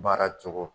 Baara cogo